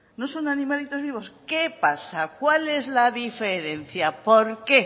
no son animalitos vivos qué pasa cuál es la diferencia por qué